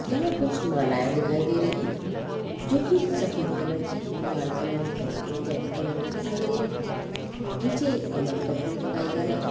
यहाँ कुछ मालाएँ दिखाई दे रही हैं जो कि सफ़ेद कलर की लाल कलर की इत्यादि कलर की दिखाई दे रही है नीचे एक कमल का फूल दिखाई दे रहा है।